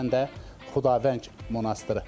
O cümlədən də Xudavəng monastırı.